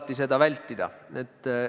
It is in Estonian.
Kus siin saab neid asju siuh-säuh teha!